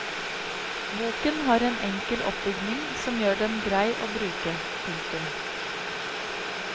Boken har en enkel oppbygning som gjør den grei å bruke. punktum